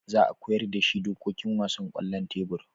Za a koyar da shi dokokin wasan kwallon tebur